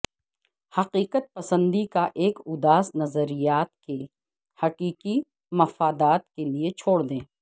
حقیقت پسندی کا ایک اداس نظریات کے حقیقی مفادات کے لئے چھوڑ دیں